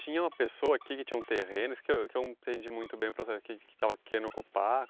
Tinha uma pessoa aqui que tinha um terreno, isso que eu que eu não entendi muito bem o processo, que que estava querendo ocupar.